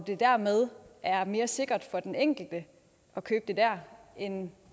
det dermed er mere sikkert for den enkelte at købe det der end